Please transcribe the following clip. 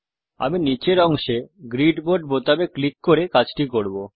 আমি নিচের অংশে গ্রিড মোড বোতামে ক্লিক করে কাজটি করব